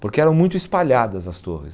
Porque eram muito espalhadas as torres.